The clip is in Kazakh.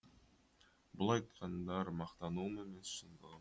бұл айтқандар мақтануым емес шындығым